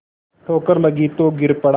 ठोकर लगी तो गिर पड़ा